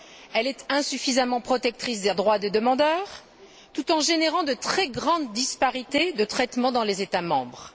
Elle est insuffisamment protectrice des droits des demandeurs, tout en générant de très grandes disparités de traitement dans les États membres.